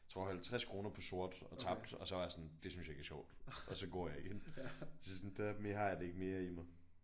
Tror 50 kroner på sort og tabte og så var jeg sådan det synes jeg ikke er sjovt og så går jeg ind så sådan der mere har jeg det ikke mere i mig